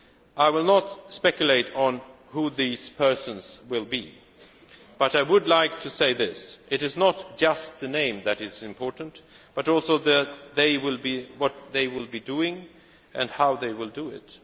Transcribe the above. I will not speculate on who these persons will be, but I would like to say that it is not just the name that is important, but also what they will be doing and how they will